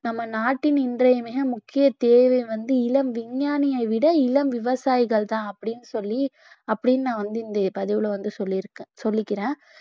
நம்ம நாட்டின் இன்றைய மிக முக்கிய தேவை வந்து இளம் விஞ்ஞானியைவிட இளம் விவசாயிகள்தான் அப்படின்னு சொல்லி அப்படின்னு நான் வந்து இந்த பதிவுல வந்து சொல்லியிருக்கேன் சொல்லிக்கிறேன்